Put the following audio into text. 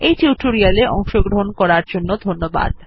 এই টিউটোরিয়াল এ অংশগ্রহন করার জন্য ধন্যবাদ